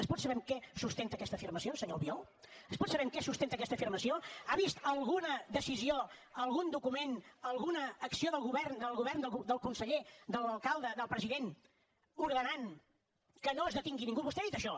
es pot saber en què es sustenta aquesta afirmació senyor albiol es pot saber en què es sustenta aquesta afirmació ha vist alguna decisió algun document alguna acció del govern del conseller de l’alcalde del president ordenant que no es detingui ningú vostè ha dit això